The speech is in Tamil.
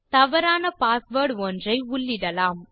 தவறான பாஸ்வேர்ட் ஒன்றை உள்ளிடலாம்